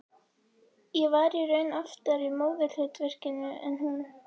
Ég var í raun oftar í móðurhlutverkinu en hún.